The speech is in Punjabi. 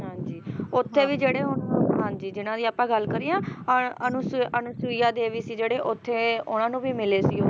ਹਾਂਜੀ ਉੱਥੇ ਵੀ ਜਿਹੜੇ ਹੁਣ ਹਾਂਜੀ ਜਿੰਨਾ ਦੀ ਆਪਾ ਗੱਲ ਕਰੀ ਆ ਅਹ ਅਨੁਸ ਅਨੁਸੁਆ ਦੇਵੀ ਸੀ ਜਿਹੜੇ ਉੱਥੇ ਉਹਨਾਂ ਨੂੰ ਵੀ ਮਿਲੇ ਸੀ ਉਹ